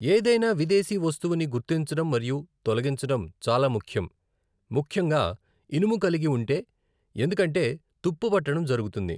ఏదైనా విదేశీ వస్తువుని గుర్తించడం మరియు తొలగించడం చాలా ముఖ్యం, ముఖ్యంగా ఇనుము కలిగి ఉంటే, ఎందుకంటే తుప్పు పట్టడం జరుగుతుంది.